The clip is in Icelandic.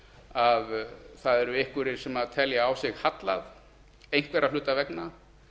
að það eru einhverjir sem telja á sig hallað einhverra hluta vegna